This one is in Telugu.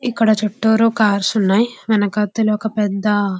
ఇక్కడ చుట్టూరు కార్స్ ఉన్నాయి మనకి అందులో ఒక పెద్ద --